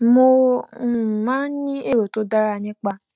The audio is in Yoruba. mo um máa ń ní èrò tó dára nípa